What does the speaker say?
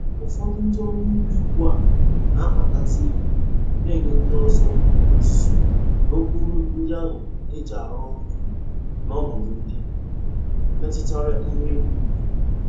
Ụfọdụ ndị ọrụ ubi ugbu a na-akpatazi ego n'nye ndị ọzọ ọzụzụ n'ụkpụrụ ndị ahụ e ji arụ ọrụ ụbi n'ọnọdụ ndị metụtara ihu eluigwe.